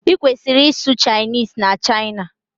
Ị kwesi-isụ Chinese na China.